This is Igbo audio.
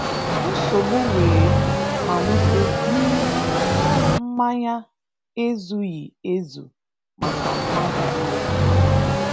Nsogbu wee malite n'ihi na mmanya ezughị ezu maka mmadụ niile.